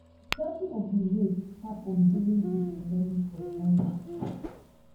seven of di rapes happun during di pandemic for china